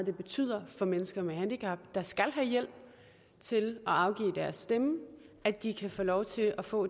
det betyder for mennesker med handicap der skal have hjælp til at afgive deres stemme at de kan få lov til at få